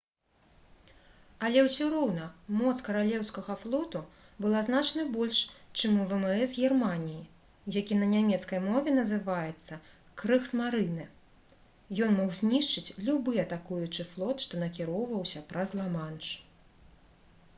але ўсё роўна моц каралеўскага флоту была значна больш чым у вмс германіі які на нямецкай мове называецца «крыгсмарынэ»: ён мог знішчыць любы атакуючы флот што накіроўваўся праз ла-манш